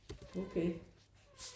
Okay